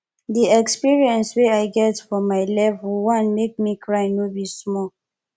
di experience way i get for my level 1 make me cry no be small